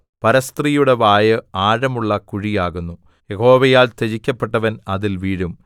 പരസ്ത്രീയുടെ വായ് ആഴമുള്ള കുഴി ആകുന്നു യഹോവയാൽ ത്യജിക്കപ്പെട്ടവൻ അതിൽ വീഴും